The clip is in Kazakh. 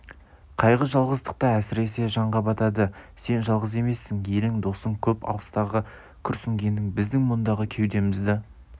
қайғы жалғыздықта әсіресе жанға батады сен жалғыз емессің елің досың көп алыстағы күрсінгенің біздің мұндағы кеудемізді